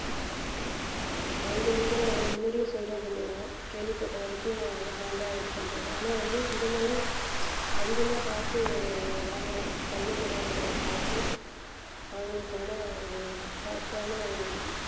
அங்க இருக்கிற முன்னாடியே சொல்றது இல்லையா கேள்விப்பட்ட வரைக்கும் அவரு நல்லா இது பண்றாரு ஆனா வந்து இது மாதிரி அதிகமா காசு வாங்குற கல்வி நிறுவனங்களை பார்த்து அவங்களுக்கான ஒரு correct ஆன ஒரு